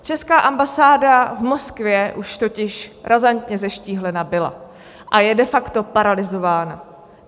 Česká ambasáda v Moskvě už totiž razantně zeštíhlena byla a je de facto paralyzována.